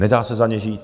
Nedá se za ně žít.